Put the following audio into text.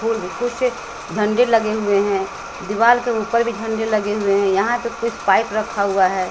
कुछ झंडे लगे हुए हैं दीवाल के ऊपर भी झंडे लगे हुए हैं यहां पे कुछ पाइप रखा हुआ है।